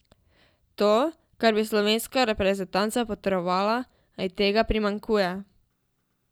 To, kar bi slovenska reprezentanca potrebovala, a ji tega primanjkuje.